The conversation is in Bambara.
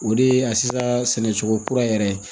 O de ye a sisan sɛnɛ cogo kura yɛrɛ ye